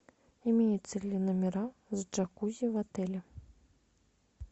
имеются ли номера с джакузи в отеле